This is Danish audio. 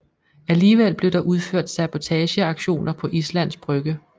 Alligevel blev der udført sabotageaktioner på Islands Brygge